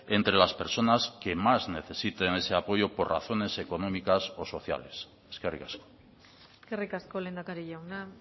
entre las personas que más necesiten ese apoyo por razones económicas o sociales eskerrik asko eskerrik asko lehendakari jauna